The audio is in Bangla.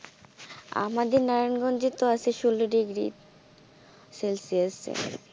আমাদের নারায়ণ গঞ্জে আছে তো ষোল ডিগ্রী সেলসিয়াস এ.